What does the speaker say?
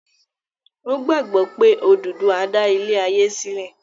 o gbàgbó pe Oduduwa dá ilé aye silẹ.